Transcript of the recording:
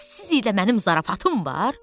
Bəs siz ilə mənim zarafatım var?